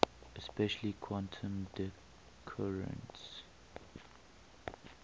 especially quantum decoherence